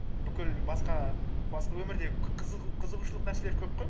бүкіл басқа өмірдегі қызығушылық нәрселер көп қой